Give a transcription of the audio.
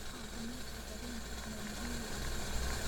Caafimaadka kalluunka ayaa muhiim u ah suuqa.